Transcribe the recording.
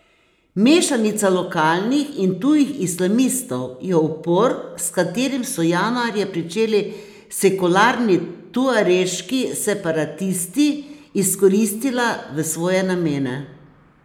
Mešanica lokalnih in tujih islamistov je upor, s katerim so januarja pričeli sekularni tuareški separatisti, izkoristila v svoje namene.